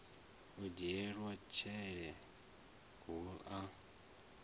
u lidzelwa tshele hu a